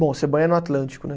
Bom, você banha no Atlântico, né?